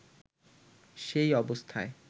সেই অবস্থায়